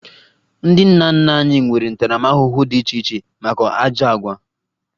Ndị nna nna anyị nwere ntaramahụhụ dị iche iche maka ajọ àgwà